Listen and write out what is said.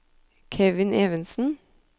Kevin Evensen